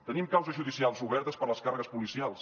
tenim causes judicials obertes per les càrregues policials